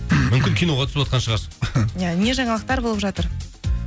мүмкін киноға түсіватқан шығарсыз иә не жаңалықтар болып жатыр